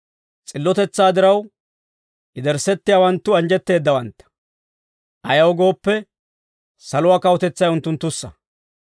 S'illotetsaa diraw, yederssettiyaawanttu anjjetteeddawantta; ayaw gooppe, saluwaa kawutetsay unttunttussa.